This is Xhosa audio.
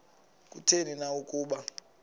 kutheni na ukuba